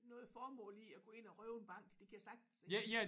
Noget formål i at gå ind og røve en bank det kan jeg sagtens se